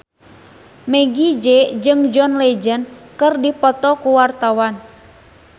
Meggie Z jeung John Legend keur dipoto ku wartawan